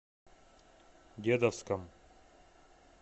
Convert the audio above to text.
дедовском